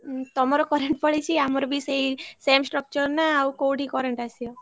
ହୁଁ ତମର current ପଳେଇଛି ଆମର ବି ସେଇ same structure ନା ଉଅ କୋଉଠି current ଆସିବ?